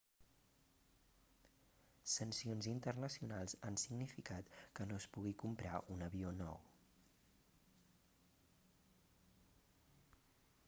sancions internacionals han significat que no es pugui comprar un avió nou